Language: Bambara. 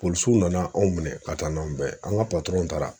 nana anw minɛ ka taa n'an bɛɛ ye an ka taara